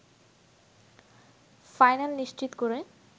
final নিশ্চিত করে